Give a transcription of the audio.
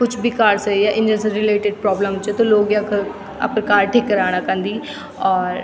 कुछ भी कार से या इंजन से रिलेटेड प्रॉब्लम च त लोग यख अपर कार ठीक कराणा क अन्दी और --